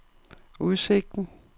udsigten